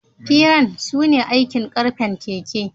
Firan su ne aikin karfen keken.